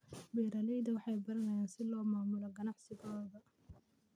Beeraleydu waxay baranayaan sida loo maamulo ganacsigooda.